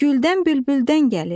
güldən bülbüldən gəlir.